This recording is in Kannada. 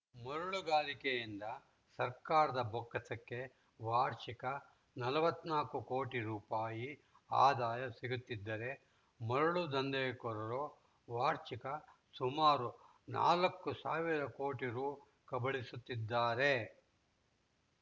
ಮರಳು ಗಣಿಗಾರಿಕೆಯಿಂದ ಸರ್ಕಾರದ ಬೊಕ್ಕಸಕ್ಕೆ ವಾರ್ಷಿಕ ನಲವತ್ತ್ ನಾಕು ಕೋಟಿ ರುಪಾಯಿ ಆದಾಯ ಸಿಗುತ್ತಿದ್ದರೆ ಮರಳು ದಂಧೆಕೋರರು ವಾರ್ಷಿಕ ಸುಮಾರು ನಾಲ್ಕು ಸಾವಿರ ಕೋಟಿ ರು ಕಬಳಿಸುತ್ತಿದ್ದಾರೆ